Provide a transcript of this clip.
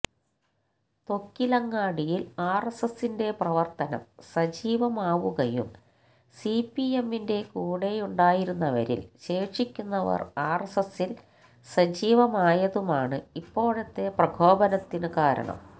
തൊക്കിലങ്ങാടിയില് ആര്എസ്എസിന്റെ പ്രവര്ത്തനം സജീവമാവുകയും സിപിഎമ്മിന്റെ കൂടെയുണ്ടായിരുന്നവരില് ശേഷിക്കുന്നവര് ആര്എസ്എസില് സജീവമായതുമാണ് ഇപ്പോഴത്തെ പ്രകോപനത്തിന് കാരണം